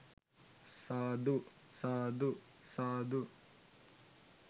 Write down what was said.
සාදු ! සාදු සාදු